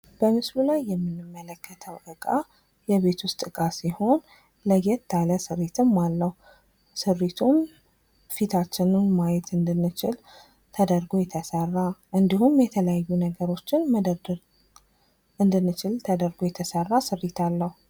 በምስሉ ላይ የምንመለከተው እቃ የቤት ውስጥ እቃ ሲሆን ለየት ያለ ስሪትም አለው። ፊታችንን ማየት እንድንችል ተደርጎ የተሰራ ስሪት አለው።